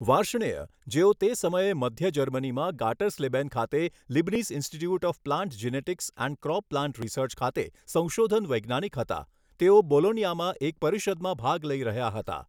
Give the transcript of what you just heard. વાર્ષ્ણેય, જેઓ તે સમયે મધ્ય જર્મનીમાં ગાટરસ્લેબેન ખાતે Leibniz Institute of Plant Genetics and Crop Plant Research ખાતે સંશોધન વૈજ્ઞાનિક હતા, તેઓ બોલોન્યામાં એક પરિષદમાં ભાગ લઈ રહ્યા હતા.